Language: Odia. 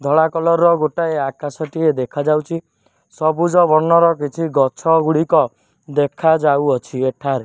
ଧଳା କଲର୍ ର ଗୋଟାଏ ଆକାଶ ଟିଏ ଦେଖାଯାଉଛି ସବୁଜ ବର୍ଣ୍ଣର କିଛି ଗଛ ଗୁଡ଼ିକ ଦେଖାଯାଉଅଛି ଏଠାରେ।